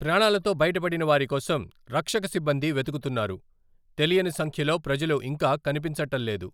ప్రాణాలతో బయటపడిన వారి కోసం రక్షక సిబ్బంది వెతుకుతున్నారు, తెలియని సంఖ్యలో ప్రజలు ఇంకా కనిపించటల్లేదు .